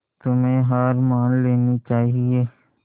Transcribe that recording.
तुम्हें हार मान लेनी चाहियें